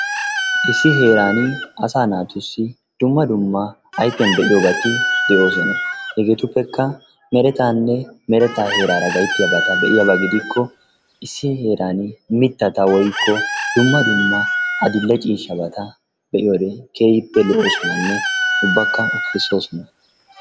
Issi heeraani asaa naatussi dumma dumma ayfiyan be'iyobati de'oososna. Hegeetuppekka meretaanne merettaa heeraara gayttiyabata be'iyaba gidikko issi heeraani mitatta woykko dumma dumma adil'e ciishshata be'iyode keehippe lo'oosonanne ubbakka ufaysoosona.